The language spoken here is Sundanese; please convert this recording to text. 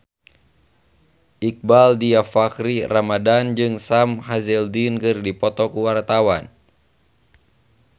Iqbaal Dhiafakhri Ramadhan jeung Sam Hazeldine keur dipoto ku wartawan